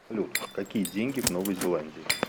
салют какие деньги в новой зеландии